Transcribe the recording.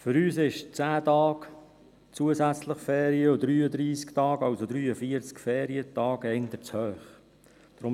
Für uns sind 10 Tage zusätzliche Ferien zu den 33 Tagen, also total 43 Ferientage, eher zu hoch.